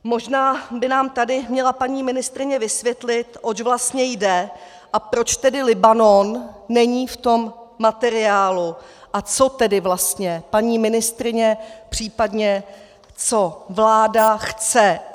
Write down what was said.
Možná by nám tady měla paní ministryně vysvětlit, oč vlastně jde a proč tedy Libanon není v tom materiálu a co tedy vlastně paní ministryně, případně co vláda chce.